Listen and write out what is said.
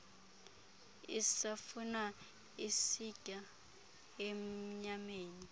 isafuna isitya emnyameni